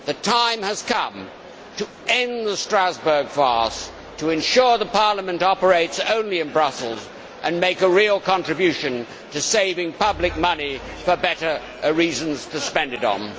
The time has come to end the Strasbourg farce, to ensure Parliament operates only in Brussels and make a real contribution to saving public money for better reasons to spend it on.